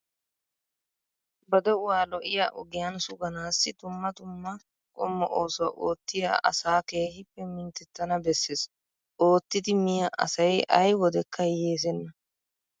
Ba de"uwaa lo"iyaa ogiyaan suganaaassi dumma dumma qommo oosuwaa oottiyaa asaa keehippe minttettana besses. Ottidi miyaa asayi ayi wodekka hiyyeesenna.